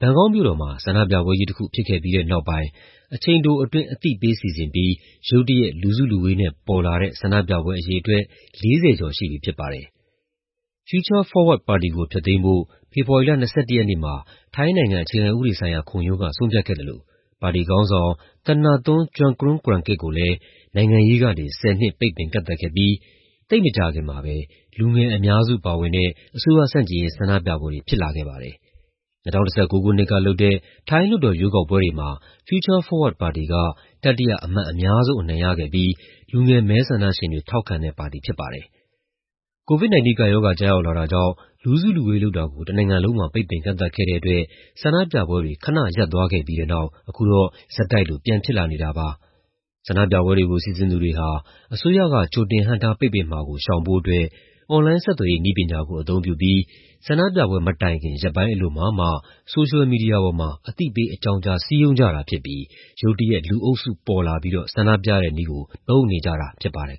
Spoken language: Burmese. ဘန်ကောက်မြို့တော်မှာ ဆန္ဒပြပွဲကြီးတခု ဖြစ်ခဲ့ပြီးတဲ့နောက်ပိုင်း အချိန်တိုအတွင်း အသိပေးစီစဉ်ပြီး ရုတ်တရက် လူစုလူဝေးနဲ့ပေါ်လာတဲ့ ဆန္ဒပြပွဲအရေအတွက် ၄၀ ကျော်ရှိပြီဖြစ်ပါတယ်။ Future Forward ပါတီကို ဖျက်သိမ်းဖို့ ဖေဖော်ဝါရီလ ၂၁ ရက်နေ့မှာ ထိုင်းနိုင်ငံ၊ အခြေခံဥပဒေဆိုင်ရာခုံရုံးက ဆုံးဖြတ်ခဲ့သလို ပါတီခေါင်းဆောင် Thanathorn Juangroongruangkit ကိုလည်း နိုင်ငံရေးကနေ ၁၀ နှစ် ပိတ်ပင်ကန့်သတ်ခဲ့ပြီး သိပ်မကြာခင်မှာပဲ လူငယ်အများစုပါဝင်တဲ့ အစိုးရဆန့်ကျင်ရေး ဆန္ဒပြပွဲတွေဖြစ်လာခဲ့ပါတယ်။ ၂၀၁၉ ခုနှစ်ကလုပ်တဲ့ ထိုင်း လွှတ်တော်ရွေးကောက်ပွဲတွေမှာ Future Forward ပါတီက တတိယ အမတ်အများဆုံး အနိုင်ရခဲ့ပြီး လူငယ်မဲဆန္ဒရှင်တွေက ထောက်ခံခဲ့တဲ့ပါတီဖြစ်ပါတယ်။ COVID-19 ကပ်ရောဂါ ကျရောက်လာတာကြောင့် လူစုလူဝေးလုပ်တာကို တနိုင်ငံလုံးမှာ ပိတ်ပင်ကန့်သတ်ခဲ့တဲ့အတွက် ဆန္ဒပြပွဲတွေ ခဏရပ်သွားခဲ့ပြီးတဲ့နောက် အခုတော့ ဆက်တိုက်လို ပြန်ဖြစ်လာနေတာပါ။ ဆန္ဒပြပွဲကို စီစဉ်သူတွေဟာ အစိုးရက ကြိုတင်ဟန့်တားပိတ်ပင်မှာကို ရှောင်ဖို့အတွက် အွန်လိုင်းဆက်သွယ်ရေး နည်းပညာကို အသုံးပြုပြီး ဆန္ဒပြပွဲမတိုင်ခင် ရက်ပိုင်းအလိုမှာမှ ဆိုရှယ်မီဒီယာပေါ်မှာ အသိပေးအကြောင်းကြား စည်းရုံးကြတာဖြစ်ပြီး ရုတ်တရက် လူအုပ်စုပေါ်လာပြီးတော့ ဆန္ဒပြတဲ့နည်းကို သုံးနေကြတာဖြစ်ပါတယ်